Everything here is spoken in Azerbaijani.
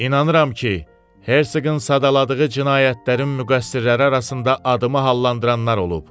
İnanıram ki, Hersoqun sadaladığı cinayətlərin müqəssirləri arasında adımı hallandıranlar olub.